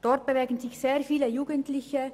Dort bewegen sich sehr viele Jugendliche.